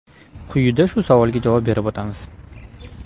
Quyida shu savolga javob berib o‘ tamiz.